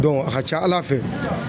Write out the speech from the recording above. a ka ca Ala fɛ